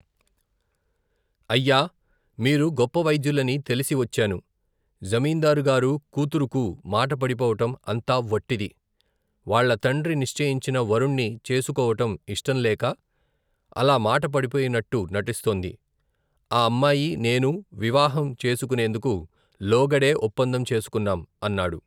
అయ్యా, మీరు గొప్ప వైద్యులని తెలిసి వచ్చాను, జమీందారుగారు కుతురుకు మాట పడిపోవటం, అంతా వట్టిది, వాళ్ళ తండ్రి నిశ్చయించిన, వరుణ్ణి చేసుకోవటం ఇష్టంలేక అలా మాట పడిపోయినట్టు నటిస్తోంది, ఆ అమ్మాయి నేనూ, వివాహం చేసుకునేందుకు, లోగడే ఒప్పందం చేసుకున్నాం, అన్నాడు.